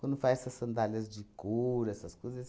Quando faz essas sandálias de couro, essas coisas.